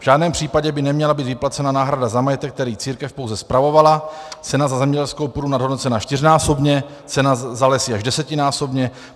V žádném případě by neměla být vyplacena náhrada za majetek, který církev pouze spravovala, cena za zemědělskou půdu nadhodnocena čtyřnásobně, cena za lesy až desetinásobně.